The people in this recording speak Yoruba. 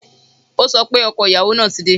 O sọ pé ọkọ ìyàwó ti dé